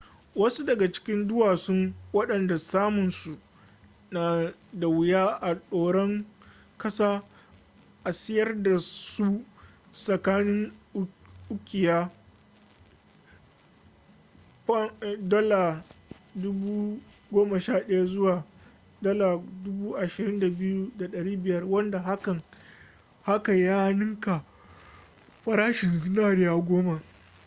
wasu daga cikin duwasun wadanda samun su na da wuya a doran kasa a siyar dasu tsakanin ukiya $11,000 zuwa $22,500 wanda haka ya ninka farashin zinari sau goma